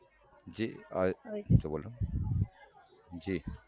જે બોલો જ